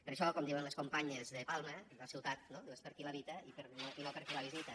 per això com diuen les companyes de palma la ciutat no és per a qui l’habita i no per a qui la visita